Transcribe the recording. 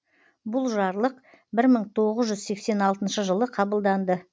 бұл жарлық бір мың тоғыз жүз сексен алтыншы жылы қабылданды